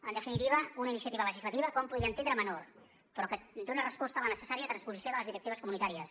en definitiva una iniciativa legislativa que hom podria entendre menor però que dona resposta a la necessària transposició de les directives comunitàries